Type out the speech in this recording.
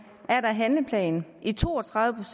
er der handleplan i to og tredive